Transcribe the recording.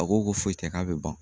A ko ko foyi tɛ k'a bɛ ban.